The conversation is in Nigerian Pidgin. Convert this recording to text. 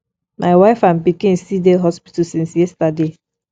my wife and pikin still dey hospital since yesterday